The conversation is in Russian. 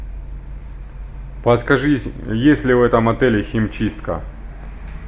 подскажи есть ли в этом отеле химчистка